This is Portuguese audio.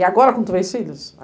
E agora com três filhos?